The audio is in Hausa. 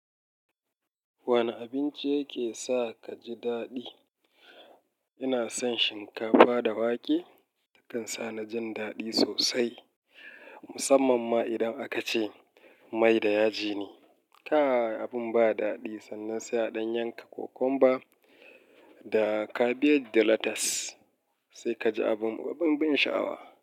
Wane abinci yake sa ka ji daɗi? Ina son shinkafa da wake, yakan sa na jin daɗi sosai musamman ma idan aka ce mai da yaji ne. Kai abin ba daɗi sannan sai a yanka kokomba da kabiji da latas, sai ka ji abun, abun ban sha'awa.